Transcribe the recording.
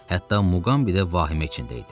Hətta Muqambi də vahimə içində idi.